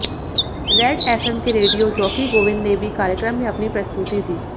red FM के radio jockey Govind ने भी कार्यक्रम में अपनी प्रस्तुति दी